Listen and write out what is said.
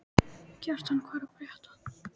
Kjartan, hvað er að frétta?